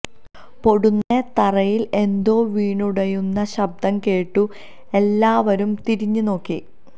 പൊടുന്നനെ തറയിൽ എന്തോ വീണുടയുന്ന ശബ്ദം കേട്ടു എല്ലാവരും തിരിഞ്ഞ് നോക്കി